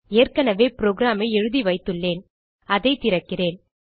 ஏற்கனவே programஐ எழுதிவைத்துள்ளேன் அதை திறக்கிறேன்